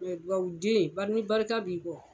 Duwɔwuden ni barika b'i kɔ